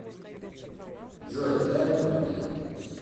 джой дай ка мне